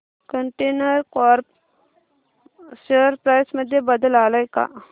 container corp share price मध्ये बदल आलाय का